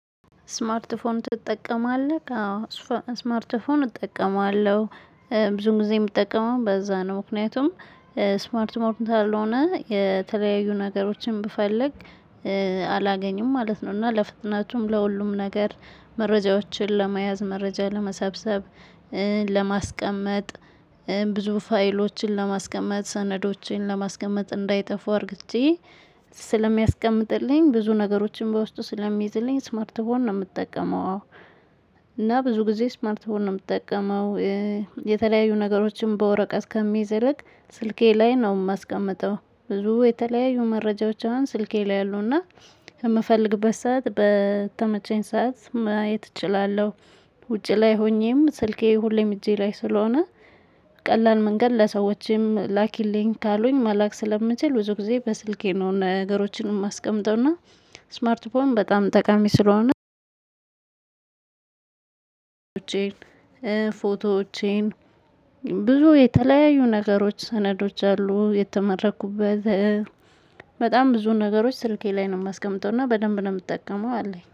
ስማርት ስልክ ትጠቀማለህ? አዎ ስማርት ስልክ እጠቀማለሁ ብዙ ጊዜ የምጠቀመው በዛ ነው። ምክንያቱም ስማርት ሞር እንትን አልሆነ የተለያዩ ነገሮችን ብፈልግ። አላገኝም ማለት ነው። እና ለፍጥናችሁም ለሁሉም ነገር መረጃዎችን ለመያዝ መረጃ ለመሰብሰብ። ለማስቀመጥ ብዙ ፋይሎችን ለማስቀመጥ ሰነዶችን ለማስቀመጥ እንዳይጠፉ አድርጌ። ስለሚያስቀምጥልኝ ብዙ ነገሮችን በውስጡ ስለሚይዝልኝ ስማርት ፎን ነው የምጠቀመው። የምትጠቀመው? እና ብዙ ጊዜ ስማርት ፎን ነው የምትጠቀመው? የተለያዩ ነገሮችን በወረቀት ከሚዘረግ ስልኬ ላይ ነው የማስቀምጠው ብዙ የተለያዩ መረጃዎችን ስልኬ ላይ አሉና የምፈልግበት ሰዓት በተመቸኝ ሰዓት ማየት እችላለሁ። ውጪ ላይ ሆኜም ስልኬ ሁሌም እጄ ላይ ስለሆነ። ቀላል መንገድ ለሰዎችም ላኪልኝ ካሉኝ ማላክ ስለምችል ብዙ ጊዜ በስልኬ ነው ነገሮችንም አስቀምጠውና። ስማርት ፎን በጣም ጠቃሚ ስለሆነ። ፎቶዎቼን ብዙ የተለያዩ ነገሮች ሰነዶች አሉ የተመረኩበት። በጣም ብዙ ነገሮች ስልኬ ላይ ነው የማስቀምጠው እና በደንብ ነው የምጠቀመው አለኝ